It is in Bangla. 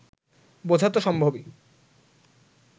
বোঝা তো সম্ভবই